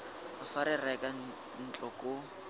fa re reka ntlo koo